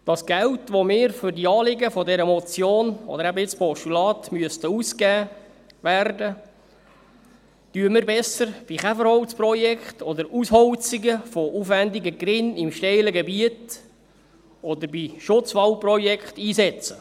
Das Geld, das für die Anliegen dieser Motion – oder jetzt eben dieses Postulats – ausgegeben werden müsste, setzen wir besser für Käferholzprojekte, Ausholzungen von aufwendigen Gerinnen in steilem Gebiet oder Schutzwaldprojekte ein.